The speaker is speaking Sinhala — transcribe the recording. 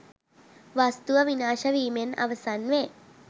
වස්තුව විනාශවීමෙන් අවසන් වේ.